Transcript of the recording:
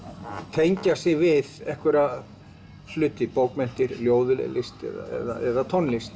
tengja sig við einhverja hluti bókmenntir ljóðlist eða tónlist